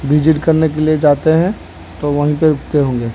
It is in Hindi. विजिट करने के लिए जाते हैं तो वहीं पे रुकते होंगे।